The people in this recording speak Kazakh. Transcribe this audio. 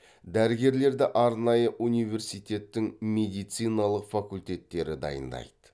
дәрігерлерді арнайы университетің медициналық факультеттері дайындайды